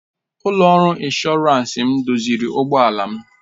Ụlọ ọrụ ịnshọransị m doziri ụgbọ ala m